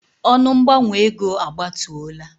Ọnụ mgbanwe ego a gbatuola.